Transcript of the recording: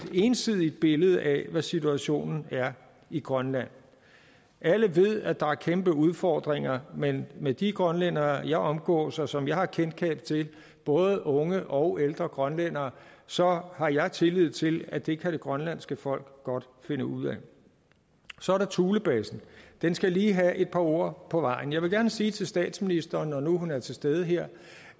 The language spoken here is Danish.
ensidigt billede af hvad situationen er i grønland alle ved at der er kæmpe udfordringer men med de grønlændere jeg omgås og som jeg har kendskab til både unge og ældre grønlændere så har jeg tillid til at det kan det grønlandske folk godt finde ud af så er der thulebasen den skal lige have et par ord på vejen jeg vil gerne sige til statsministeren når nu hun er til stede her